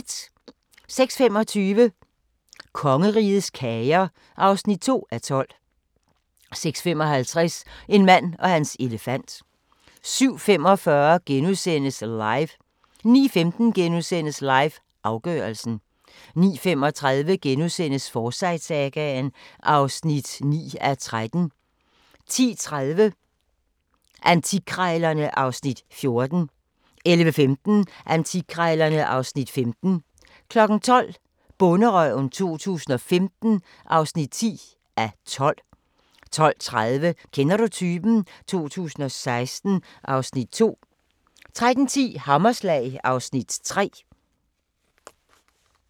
06:25: Kongerigets kager (2:12) 06:55: En mand og hans elefant 07:45: LIVE * 09:15: LIVE – afgørelsen * 09:35: Forsyte-sagaen (9:13)* 10:30: Antikkrejlerne (Afs. 14) 11:15: Antikkrejlerne (Afs. 15) 12:00: Bonderøven 2015 (10:12) 12:30: Kender du typen? 2016 (Afs. 2) 13:10: Hammerslag (Afs. 3)